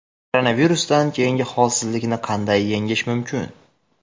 Koronavirusdan keyingi holsizlikni qanday yengish mumkin?.